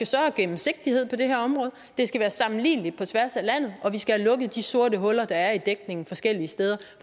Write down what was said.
større gennemsigtighed på det her område det skal være sammenligneligt på tværs af landet og vi skal have lukket de sorte huller der er i dækningen forskellige steder